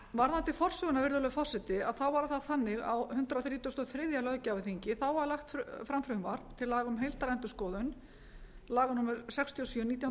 varðandi forsöguna virðulegur forseti þá var það þannig á hundrað þrítugasta og þriðja löggjafarþingi þá var lagt fram frumvarp til laga um heildarendurskoðun laga númer sextíu og sjö nítján hundruð áttatíu og